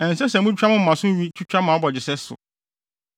“ ‘Ɛnsɛ sɛ mutwitwa mo moma so nwi twitwa mo abɔgyesɛ so.